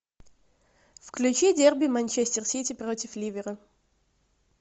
включи дерби манчестер сити против ливера